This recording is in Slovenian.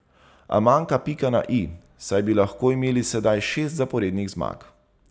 A manjka pika na i, saj bi lahko imeli sedaj šest zaporednih zmag.